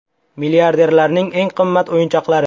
Milliarderlarning eng qimmat o‘yinchoqlari .